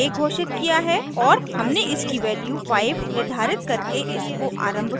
और हमने इसकी वैल्यू 5 निर्धारित करके इसको आरम्भ किया